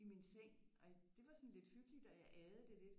I min seng og det var sådan lidt hyggeligt og jeg aede det lidt